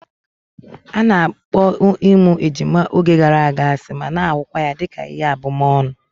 A na-akpọ ịmụ ejima oge gara aga asị ma na-ahụkwa ya dịka ihe abumọọnu